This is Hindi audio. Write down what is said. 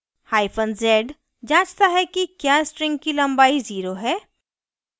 hyphen z जाँचता है कि क्या string की लम्बाई zero है